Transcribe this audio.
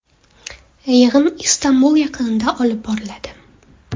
Yig‘in Istanbul yaqinida olib boriladi.